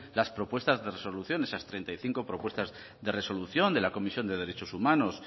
las propuestas de resolución esas treinta y cinco propuestas de resolución de la comisión de derechos humanos